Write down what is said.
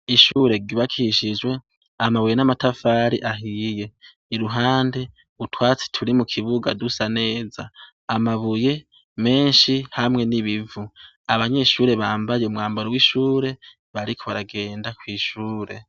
Ishure ryubakishijwe amabuye n'amatafari ahiye, iruhande utwatsi turi mukibuga dusa neza amabuye menshi hamwe n'ibivu abanyeshure bambaye umwambaro wishure bariko baragenda kwishure.